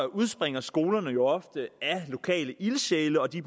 udspringer skolerne jo ofte af lokale ildsjæle og de